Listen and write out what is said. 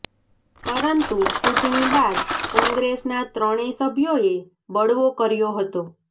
પરંતુ ચુંટણી બાદ કોંગ્રેસના ત્રણેય સભ્યોએ બળવો કર્યો હતો